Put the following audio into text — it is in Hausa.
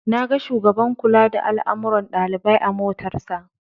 Na ga shugaban kula da al'amuran ɗalibai a motarsa.